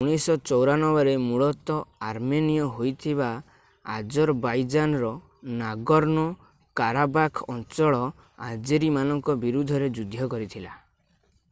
1994 ରେ ମୂଳତଃ ଆର୍ମେନୀୟ ହୋଇଥିବା ଆଜରବାଇଜାନର ନାଗର୍ଣ୍ଣୋ-କାରାବାଖ୍ ଅଞ୍ଚଳ ଆଜେରୀମାନଙ୍କ ବିରୁଦ୍ଧରେ ଯୁଦ୍ଧ କରିଥିଲା